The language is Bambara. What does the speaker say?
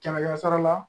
Kɛmɛ kɛmɛ sara la